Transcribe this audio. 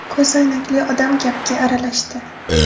Ko‘zoynakli odam gapga aralashdi.